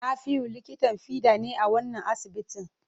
Nafiu likitan fiɗa ne a wannan asibitin.